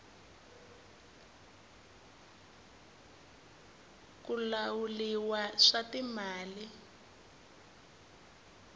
ku lahuliwa swa timali